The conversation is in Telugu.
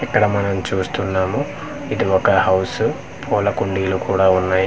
ఇక్కడ మనం చూస్తున్నాము ఇది ఒక హౌస్ పూల కుండీలు కూడా ఉన్నాయి.